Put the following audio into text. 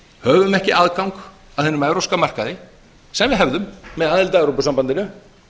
höfum ekki aðgang að hinum evrópska markaði sem við hefðum með aðild að evrópusambandinu